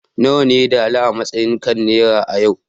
nawa ne dala a matsayi kan naira a yau